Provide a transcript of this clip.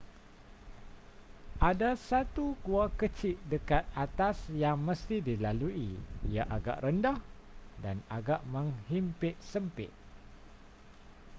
ada satu gua kecik dekat atas yang mesti dilalui ia agak rendah dan agak menghimpit sempit